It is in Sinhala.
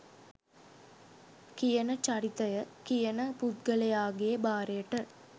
කියන චරිතය .කියන පුද්ගලයාගේ භාරයට